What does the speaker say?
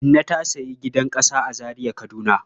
Inna ta sayi gidan ƙasa a Zariar Kaduna..